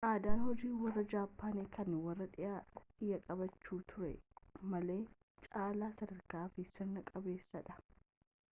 aadaan hojii warra jaappaanii kan warri dhiyaa qabaachaa turuu malan caalaa sadarkaa fi sirna qabeessadha